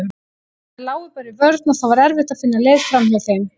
Þær lágu bara í vörn og það var erfitt að finna leið framhjá þeim.